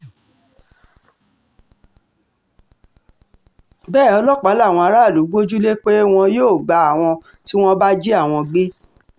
bẹ́ẹ̀ ọlọ́pàá làwọn aráàlú gbójú lé pé wọn yóò gba àwọn tí wọ́n bá jí àwọn gbé